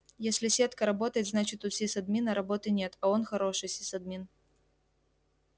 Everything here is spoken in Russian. если сетка работает значит у сисадмина работы нет и он хороший сисадмин